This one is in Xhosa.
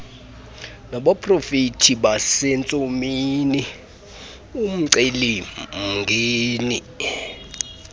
nabaprofeti basentsomini umcelimngeni